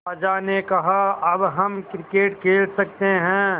अज्जा ने कहा अब हम क्रिकेट खेल सकते हैं